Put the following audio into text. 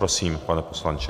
Prosím, pane poslanče.